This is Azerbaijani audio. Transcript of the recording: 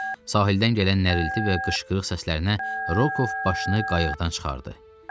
Sahildən gələn nərilti və qışqırıq səslərinə Rokov başını qayıqdan çıxardı.